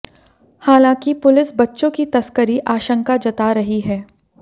हालांकि पुलिस बच्चों की तस्करी आशंका जता रही है